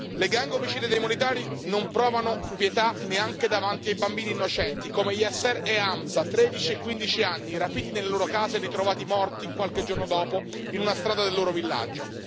Le gang omicide dei militari non provano pietà neanche davanti ai bambini innocenti, come Yasser e Hamza, di 13 e 15 anni, rapiti nelle loro case e ritrovati morti, qualche giorno dopo, in una strada del loro villaggio.